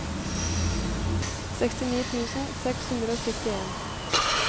sekstini tusen seks hundre og syttien